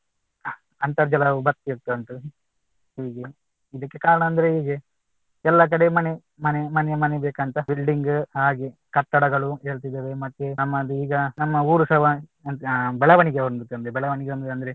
ಅಂತರ್ಜಲವು ಬತ್ತಿ ಹೋಗ್ತಾ ಉಂಟು ಹೀಗೆ ಇದಕ್ಕೆ ಕಾರಣ ಅಂದ್ರೆ ಹೀಗೆ ಎಲ್ಲ ಕಡೆ ಮನೆ ಮನೆ ಮನೆ ಬೇಕಂತ building ಹಾಗೆ ಕಟ್ಟಡಗಳು ಏಳ್ತಿದವೇ ಮತ್ತೆ ನಮ್ಮದು ಈಗ ನಮ್ಮ ಊರು ಸಹ ಬೆಳವಣಿಗೆ ಹೊಂದುತ್ತದೆ ಬೆಳವಣಿಗೆ ಹೊಂದುದಂದ್ರೆ